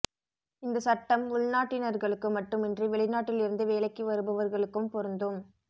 இந்த சட்டம் உள்நாட்டினர்களுக்கு மட்டுமின்றி வெளிநாட்டில் இருந்து வேலைக்கு வருபவர்களுக்கும் பொருந்தும்